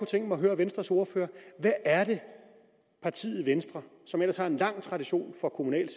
tænke mig at høre venstres ordfører hvad er det partiet venstre som ellers har en lang tradition for kommunalt